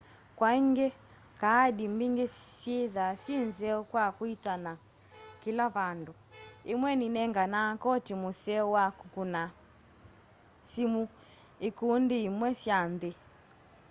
kwaĩngĩ kaadĩ mbĩngĩ syĩtha sye nzeo kwa kwitana kĩla vandũ ĩmwe nĩ nengana kotĩ mũseo wa kũkũna sĩmũ ĩkũndĩ ĩmwe sya nthĩ